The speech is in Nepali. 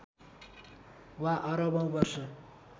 वा अरबौँ वर्ष